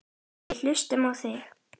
Við hlustum á þig.